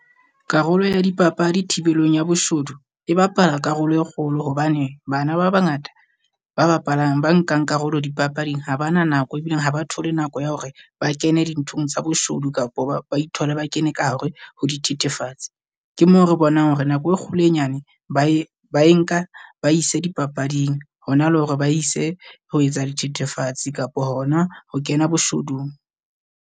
Karolo ya dipapadi thibelong ya boshodu e bapala karolo e kgolo hobane bana ba bangata, ba bapalang, ba nkang karolo dipapading ha ba na nako e bileng ha ba thole nako ya hore ba kene dinthong tsa boshodu kapo ba ba ithole ba kene ka hare ho di thethefatsi. Ke moo re bonang hore nako e kgolo e nyane ba e ba e nka ba ise dipapading hona le hore ba ise ho etsa dithethefatsi kapo hona ho kena boshodung.